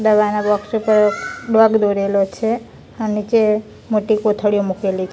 દવાના બોક્સ ઉપર ડોગ દોરેલો છે અ નીચે મોટી કોથળીઓ મૂકેલી--